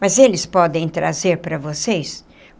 Mas eles podem trazer para vocês?